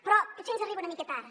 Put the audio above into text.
però potser ens arriba una mica tard